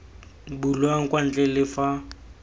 bulwang kwa ntle le fa